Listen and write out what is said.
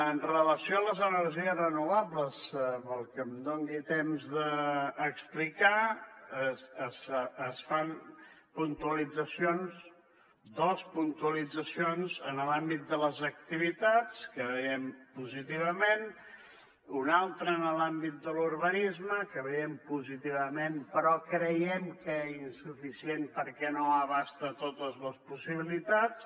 amb relació a les energies renovables amb el que em doni temps d’explicar es fan puntualitzacions dos puntualitzacions en l’àmbit de les activitats que veiem positivament una altra en l’àmbit de l’urbanisme que veiem positivament però creiem que insuficient perquè no abasta totes les possibilitats